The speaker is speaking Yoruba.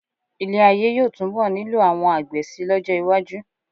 Ilé-ayé yóò túnbọ̀ nílò àwọn àgbẹ̀ síi lọ́jọ́ iwájú.